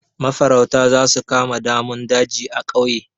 Mafarauta za su kama damun daji a ƙauye.